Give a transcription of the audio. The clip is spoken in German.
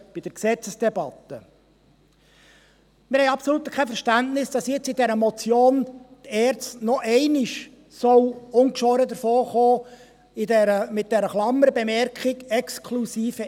Wir haben absolut kein Verständnis, dass die ERZ jetzt mit dieser Motion noch einmal ungeschoren davonkommen soll, mit der Klammerbemerkung «exkl.